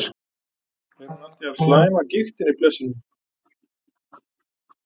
Er hún alltaf jafn slæm af gigtinni, blessunin?